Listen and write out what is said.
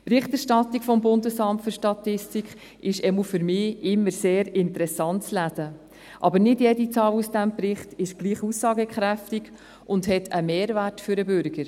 Die Berichterstattung des BFS ist, zumindest für mich, immer sehr interessant zu lesen, aber nicht jede Zahl aus diesem Bericht ist gleich aussagekräftig und hat einen Mehrwert für den Bürger.